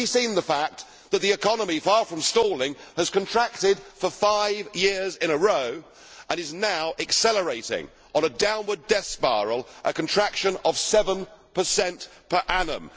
Has he seen the fact that the economy, far from stalling, has contracted for five years in a row, and is now accelerating on a downward debt spiral, a contraction of 7 per annum?